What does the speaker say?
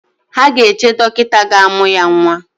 Ha ga-eche dọkịta ga-amụ ya nwa